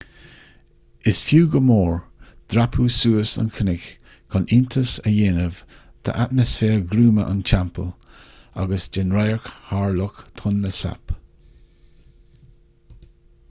is fiú go mór dreapadh suas an cnoc chun iontas a dhéanamh d'atmaisféar gruama an teampaill agus den radharc thar loch tonle sap